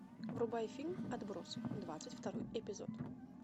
врубай фильм отбросы двадцать второй эпизод